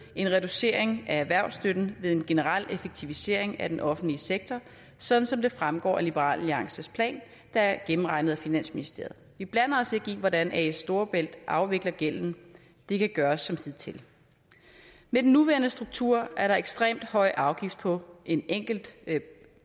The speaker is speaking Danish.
en reducering af erhvervsstøtten ved en generel effektivisering af den offentlige sektor sådan som det fremgår af liberal alliances plan der er gennemregnet af finansministeriet vi blander os ikke i hvordan as storebælt afvikler gælden det kan gøres som hidtil med den nuværende struktur er der ekstremt høj afgift på en enkelt